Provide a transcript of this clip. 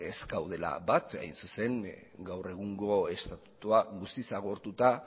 ez gaudela bat hain zuzen gaur egungo estatutua guztiz agortuta